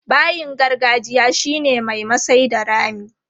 Bayin gargajiya shi ne mai masai da rami.